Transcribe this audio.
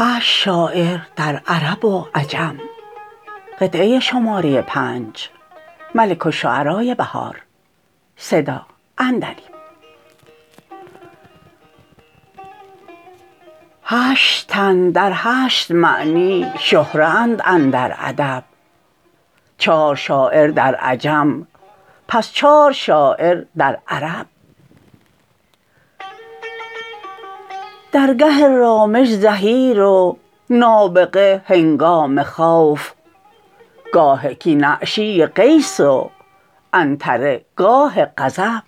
هشت تن در هشت معنی شهره اند اندر ادب چار شاعر در عجم پس چار شاعر در عرب در گه رامش زهیر و نابغه هنگام خوف گاه کین اعشی قیس و عنتره گاه غضب